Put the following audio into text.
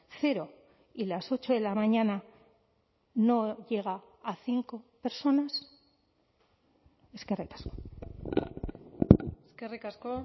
cero y las ocho de la mañana no llega a cinco personas eskerrik asko eskerrik asko